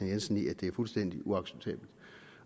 jensen i at det er fuldstændig uacceptabelt